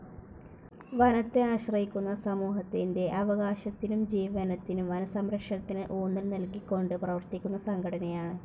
വനത്തെ ആശ്രയിക്കുന്ന സമൂഹത്തിന്റെ അവകാശത്തിനും ജീവനത്തിനും വനസംരക്ഷണത്തിന് ഊന്നൽ നൽകിക്കൊണ്ട് പ്രവർത്തിക്കുന്ന സംഘടനയാണ്.